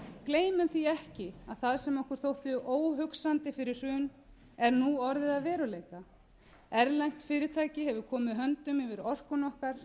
gleymum því ekki að það sem okkur þótti óhugsandi fyrir hrun er nú orðið að veruleika erlent fyrirtæki hefur komið höndum yfir orkuna okkar